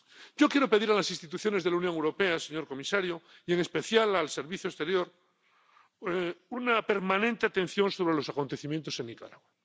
Yo quiero pedir a las instituciones de la Unión Europea, señor comisario, y en especial al Servicio Europeo de Acción Exterior una permanente atención sobre los acontecimientos en Nicaragua.